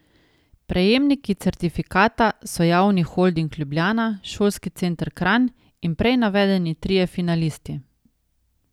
Prejemniki certifikata so Javni holding Ljubljana, Šolski center Kranj in prej navedeni trije finalisti.